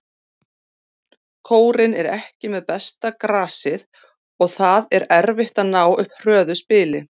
Kórinn er ekki með besta grasið og það er erfitt að ná upp hröðu spili.